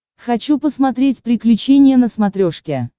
хочу посмотреть приключения на смотрешке